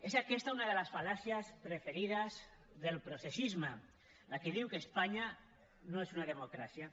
és aquesta una de les fal·làcies preferides del processisme la que diu que espanya no és una democràcia